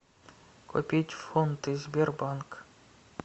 купить фунты сбербанк